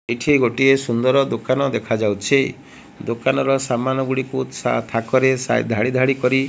କିଛି ଗୋଟିଏ ସୁନ୍ଦର ଦୋକାନ ଦେଖା ଯାଉଛି ଦୋକାନର ସାମାନ ଗୁଡ଼ିକୁ ଥାକରେ ଧାଡ଼ି ଧାଡ଼ି କରି --